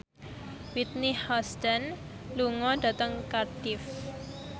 Whitney Houston lunga dhateng Cardiff